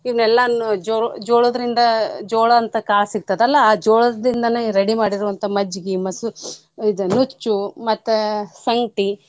ಇವ್ನ್ ಎಲ್ಲಾನೂ ಜೋ~ ಜೋಳದ್ರಿಂದ ಜೋಳ ಅಂತ ಕಾಳ್ ಸಿಕ್ತತಲ್ಲ ಆ ಜೋಳದಿಂದನ ready ಮಾಡಿರೋವಂತ ಮಜ್ಜಿಗಿ ಮಸ~ ಇದ ನುಚ್ಚು ಮತ್ತ ಸಂಕ್ಟಿ.